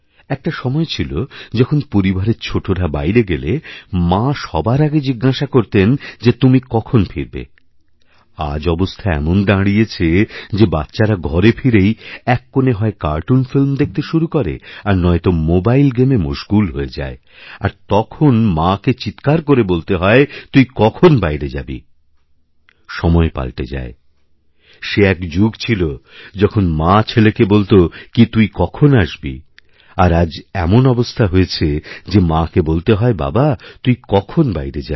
একটা সময় ছিল যখনপরিবারের ছোটরা বাইরে গেলে মা সবার আগে জিজ্ঞাসা করতেন যে তুমি কখন ফিরবে আজঅবস্থা এমন দাঁড়িয়েছে যে বাচ্চারা ঘরে ফিরেই এক কোণে হয় কার্টুন ফিল্ম দেখতে শুরুকরে আর নয়ত মোবাইল গেমে মশগুল হয়ে যায় আর তখন মাকে চীৎকার করে বলতে হয় তুই কখনবাইরে যাবি সময় পালটে যায় সে এক যুগ ছিল যখন মা ছেলেকে বলত কি তুই কখন আসবি আরআজ এমন অবস্থা হয়েছে যে মাকে বলতে হয় বাবা তুই কখন বাইরে যাবি